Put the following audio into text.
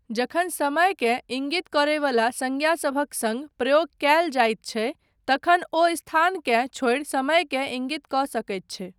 जखन समयकेँ इंगित करयवला संज्ञासभक सङ्ग प्रयोग कयल जाइत छै तखन ओ स्थानकेँ छोड़ि समयकेँ इंगित कऽ सकैत छै।